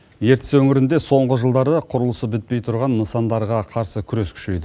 ертіс өңірінде соңғы жылдары құрылысы бітпей тұрған нысандарға қарсы күрес күшейді